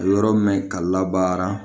Yɔrɔ min ka la baara